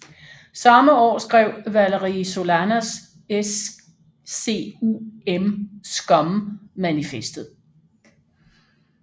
Samme år skrev Valerie Solanas SCUM manifestet